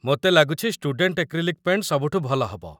ମୋତେ ଲାଗୁଛି student acrylic paint ସବୁଠୁ ଭଲ ହେବ ।